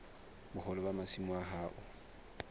boholo ba masimo a hao